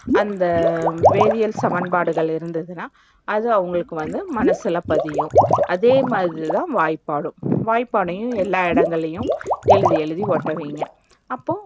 அந்த வேதியியல் சமன்பாடுகள் இருந்துச்சுன்னா அது அவங்களுக்கு வந்து மனசுல பதியும். அதேமாதிரி, தான் வாய்ப்பாடும் வாய்ப்பாடையும் எல்லா இடங்கள்ளையும்எழுதி எழுதி ஒட்டி வைங்க. அப்போ,